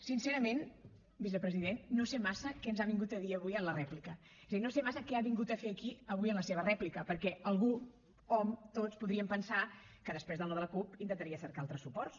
sincerament vicepresident no sé massa què ens ha vingut a dir avui en la rèplica és a dir no sé massa què ha vingut a fer aquí avui en la seva rèplica perquè algú hom tots podríem pensar que després del no de la cup intentaria cercar altres suports